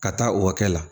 Ka taa o hakɛ la